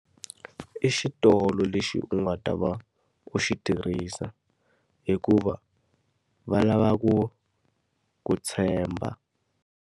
I xitolo lexi u nga ta va u xi tirhisa, hikuva va lava ku ku tshemba.